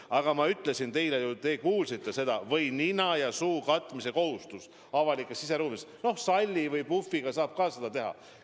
Aga ma ütlesin teile ja te kuulsite seda: kehtib nina ja suu katmise kohustus avalikes siseruumides, ka salli või puhviga saab seda teha.